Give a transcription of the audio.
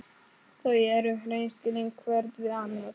Þau eru hreinskilin hvert við annað.